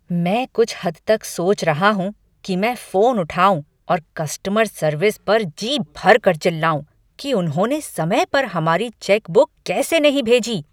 मैं कुछ हद तक सोच रहा हूँ कि मैं फोन उठाऊँ और कस्टमर सर्विस पर जी भरकर चिल्लाऊँ कि उन्होंने समय पर हमारी चेकबुक कैसे नहीं भेजी।